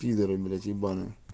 пидары блядь ебанные